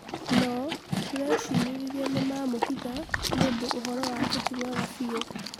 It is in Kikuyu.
no tũrecirĩrĩria nĩmamũhitha nĩũndũ ũhoro wake tĩ mwega biũ